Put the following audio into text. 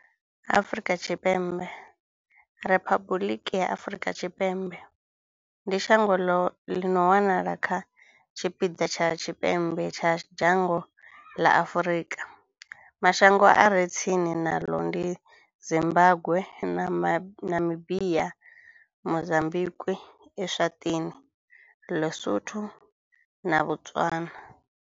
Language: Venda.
Afrika Tshipembe, Riphabuḽiki ya Afrika Tshipembe, ndi shango ḽi no wanala kha tshipiḓa tsha tshipembe tsha dzhango ḽa Afrika. Mashango a re tsini naḽo ndi Zimbagwe, Namibia, Mozambikwi, Eswatini, LiSotho na Botswana.